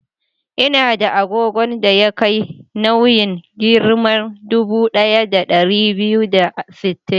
Ina da agogon da ya kai nauyin giram dubu ɗaya da ɗari biyu da sittin.